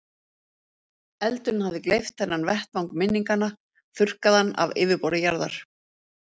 Eldurinn hafði gleypt þennan vettvang minninganna, þurrkað hann af yfirborði jarðar.